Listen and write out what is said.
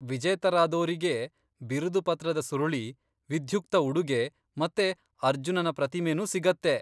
ವಿಜೇತರಾದೋರಿಗೆ ಬಿರುದುಪತ್ರದ ಸುರುಳಿ, ವಿಧ್ಯುಕ್ತ ಉಡುಗೆ ಮತ್ತೆ ಅರ್ಜುನನ ಪ್ರತಿಮೆನೂ ಸಿಗತ್ತೆ.